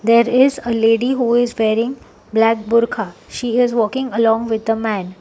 There is a lady who is wearing black burka she is walking along with a man.